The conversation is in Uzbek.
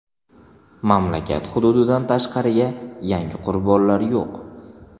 Mamlakat hududidan tashqariga yangi qurbonlar yo‘q.